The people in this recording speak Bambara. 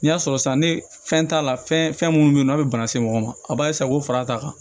N'i y'a sɔrɔ san ne fɛn t'a la fɛn minnu bɛ yen n'a bɛ bana se mɔgɔ ma a b'a k'o fara a ta kan